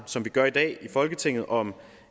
som vi gør i dag i folketinget om